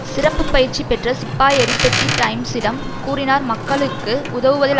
சிறப்பு பயிற்சி பெற்ற சிப்பாய் எரிக் பெட்டி டைம்ஸிடம் கூறினார் மக்களுக்கு உதவுவதில்